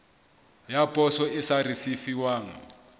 ya poso e sa risefuwang